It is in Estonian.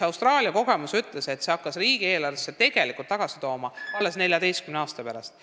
Austraalia kogemus ütleb, et see hakkas riigieelarvesse raha tagasi tooma tegelikult alles 14 aasta pärast.